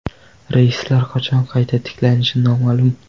Reyslar qachon qayta tiklanishi noma’lum.